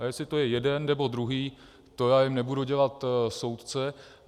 A jestli to je jeden, nebo druhý, to já jim nebudu dělat soudce.